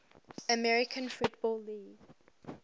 american football league